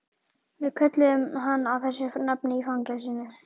Við kölluðum hann þessu nafni í fangelsinu